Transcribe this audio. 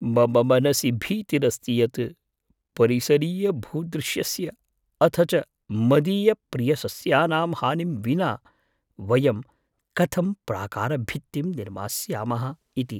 मम मनसि भीतिरस्ति यत् परिसरीयभूदृश्यस्य अथ च मदीयप्रियसस्यानां हानिं विना वयं कथं प्राकारभित्तिं निर्मास्यामः इति।